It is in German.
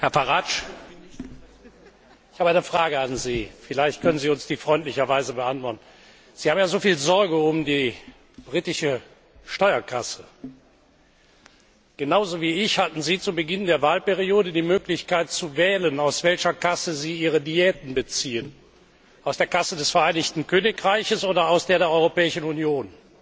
Herr Farage, ich habe eine Frage an Sie. Vielleicht können Sie uns die freundlicherweise beantworten. Sie haben ja so viel Sorge um die britische Steuerkasse. Genauso wie ich hatten Sie zu Beginn der Wahlperiode die Möglichkeit zu wählen, aus welcher Kasse Sie Ihre Diäten beziehen aus der Kasse des Vereinigten Königreichs oder aus der der Europäischen Union.